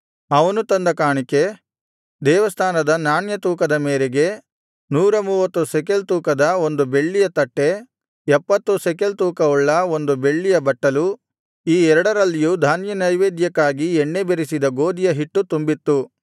ಅವನು ತಂದ ಕಾಣಿಕೆ ದೇವಸ್ಥಾನದ ನಾಣ್ಯ ತೂಕದ ಮೇರೆಗೆ ನೂರ ಮೂವತ್ತು ಶೆಕಲ್ ತೂಕದ ಬೆಳ್ಳಿಯ ಒಂದು ತಟ್ಟೆ ಎಪ್ಪತ್ತು ಶೆಕೆಲ್ ತೂಕವುಳ್ಳ ಒಂದು ಬೆಳ್ಳಿಯ ಬಟ್ಟಲು ಈ ಎರಡರಲ್ಲಿಯೂ ಧಾನ್ಯನೈವೇದ್ಯಕ್ಕಾಗಿ ಎಣ್ಣೆ ಬೆರಸಿದ ಗೋದಿಯ ಹಿಟ್ಟು ತುಂಬಿತ್ತು